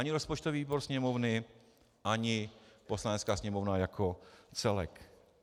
Ani rozpočtový výbor Sněmovny, ani Poslanecká sněmovna jako celek.